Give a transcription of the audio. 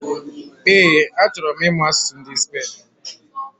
Ee, achọrọ m imu asụsụ ndị Spain